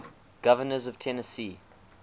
governors of tennessee